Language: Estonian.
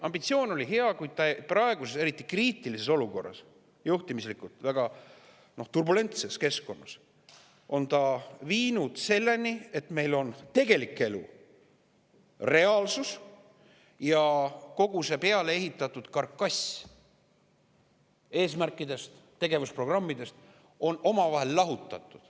Ambitsioon oli hea, kuid praeguses eriti kriitilises olukorras, juhtimislikult väga turbulentses keskkonnas on see viinud selleni, et meil on tegelik elu, reaalsus, ja kogu see peale ehitatud karkass eesmärkidest ja tegevusprogrammidest omavahel lahutatud.